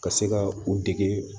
Ka se ka u dege